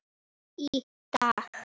Í dag.